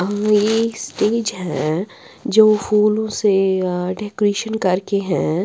हा ये स्टेज है जो फूलों से अह डेकोरेशन करके हैं।